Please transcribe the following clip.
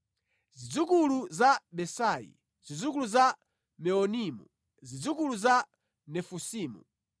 Zidzukulu za Besai, zidzukulu za Meunimu, zidzukulu za Nefusimu,